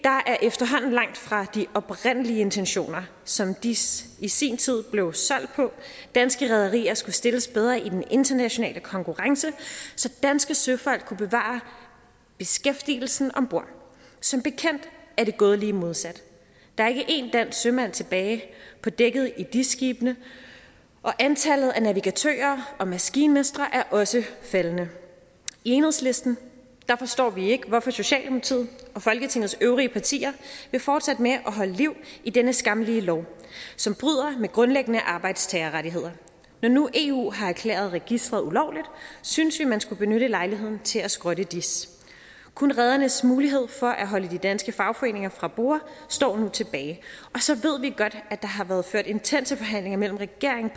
er efterhånden langt fra de oprindelige intentioner som dis i sin tid blev solgt på danske rederier skulle stilles bedre i den internationale konkurrence så danske søfolk kunne bevare beskæftigelsen om bord som bekendt er det gået lige modsat der er ikke en dansk sømand tilbage på dækket i dis skibene og antallet af navigatører og maskinmestre er også faldende i enhedslisten forstår vi ikke hvorfor socialdemokratiet og folketingets øvrige partier vil fortsætte med at holde liv i denne skammelige lov som bryder med grundlæggende arbejdstagerrettigheder når nu eu har erklæret registeret ulovligt synes vi man skulle benytte lejligheden til at skrotte dis kun redernes mulighed for at holde de danske fagforeninger fra borde står nu tilbage og så ved vi godt at der har været ført intense forhandlinger mellem regeringen